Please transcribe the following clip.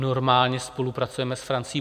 Normálně spolupracujeme s Francií.